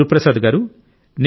గురుప్రసాద్ గారూ